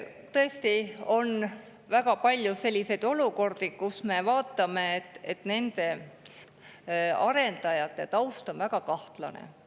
Tõesti on väga palju selliseid olukordi, kus me vaatame, et nende arendajate taust on väga kahtlane.